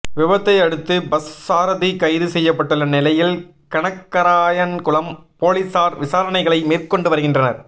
விபத்தை அடுத்து பஸ் சாரதி கைது செய்யப்பட்டுள்ள நிலையில் கனகராயன்குளம் பொலிஸார் விசாரணைகளை மேற்கொண்டு வருகின்றனர்